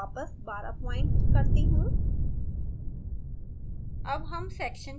अब मैं font वापस 12 point करती हूँ